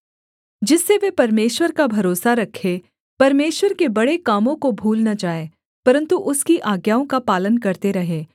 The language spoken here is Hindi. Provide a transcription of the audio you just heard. जिससे वे परमेश्वर का भरोसा रखें परमेश्वर के बड़े कामों को भूल न जाएँ परन्तु उसकी आज्ञाओं का पालन करते रहें